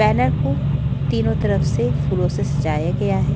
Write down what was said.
Banner को तीनो तरफ से फूलों से सजाया गया है।